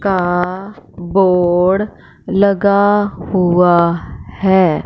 का बोर्ड लगा हुआ है।